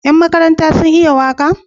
Yan makaranta sun iya waka?